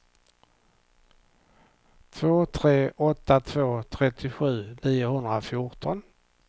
två tre åtta två trettiosju niohundrafjorton